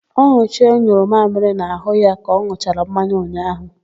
Ọnọchie nyụrụ amịrị n'àhụ́ ya ka ọ n̄ụchara mmanya ụnyaahụ.